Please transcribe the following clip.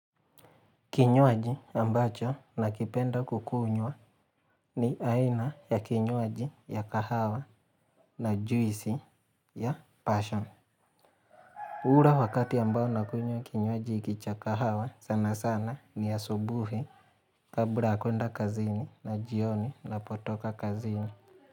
Kinywaji ambacho na kipenda kukunywa ni aina ya kinywaji ya kahawa na juisi ya passion. Ura wakati ambao nakunywa kinywaji hiki cha kahawa sana sana ni asubuhi kabla ya kuenda kazini na jioni napotoka kazini.